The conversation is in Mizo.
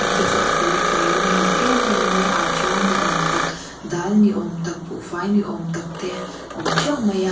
te chu a felfai in a muk em em maia ata ni awm tak dal ni awm tak buhfai ni awm tak te awm teuh mai a .